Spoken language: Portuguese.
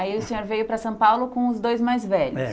Aí o senhor veio para São Paulo com os dois mais velhos?